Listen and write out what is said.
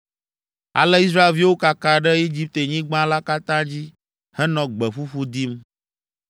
Ale Israelviwo kaka ɖe Egiptenyigba la katã dzi henɔ gbe ƒuƒu dim.